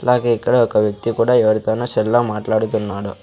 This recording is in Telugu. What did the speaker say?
అలాగే ఇక్కడ ఒక వ్యక్తి కూడా ఎవరితోనో సెల్ లో మాట్లాడుతున్నాడు.